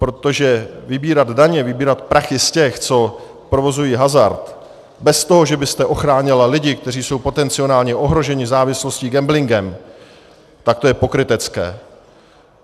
Protože vybírat daně, vybírat prachy z těch, co provozují hazard, bez toho, že byste ochránila lidi, kteří jsou potenciálně ohroženi závislostí, gamblingem, tak to je pokrytecké.